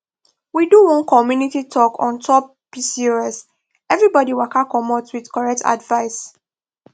we do one community talk on top pcoseverybody waka commot with correct advice